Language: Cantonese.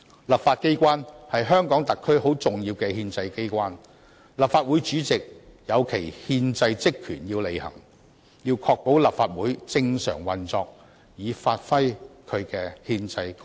立法機關是香港特別行政區很重要的憲制機關，立法會主席要履行其憲制職權，要確保立法會正常運作以發揮其憲制功能。